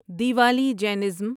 Diwali Jainism